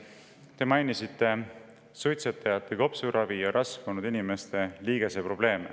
Te mainisite suitsetajate kopsuravi ja rasvunud inimeste liigeseprobleeme.